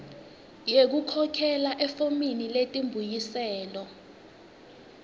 yekukhokhela efomini letimbuyiselo